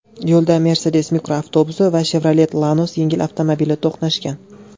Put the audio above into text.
Yo‘lda Mercedes mikroavtobusi va Chevrolet Lanos yengil avtomobili to‘qnashgan.